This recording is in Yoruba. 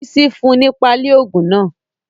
Bísí fún un ní páálí ogun náà.